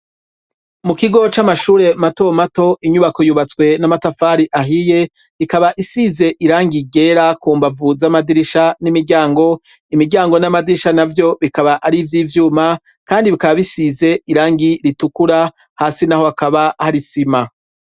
Mu kigo c'amashure mato mato, inyubako yubatswe n'amatafari ahiye, ikaba isize irangi ryera ku mbavu z'amadirisha n'imiryango; imiryango n'amadirisha navyo bikaba ari ivy'ivyuma, kandi bikaba bisize irangi ritukura; hasi naho hakaba hari isima.